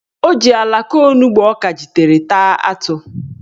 O ji alaka onugbo ọ kajitere taa atụ.